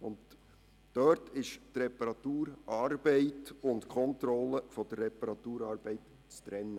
In diesen Fällen ist die Reparaturarbeit von der Kontrolle der Reparatur zu trennen.